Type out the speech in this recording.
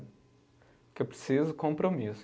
Porque é preciso compromisso.